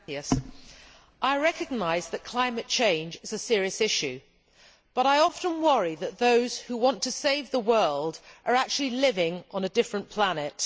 Mr President, I recognise that climate change is a serious issue, but I often worry that those who want to save the world are actually living on a different planet.